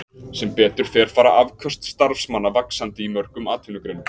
Sem betur fer fara afköst starfsmanna vaxandi í mörgum atvinnugreinum.